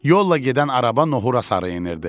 Yolla gedən araba nohura sarı enirdi.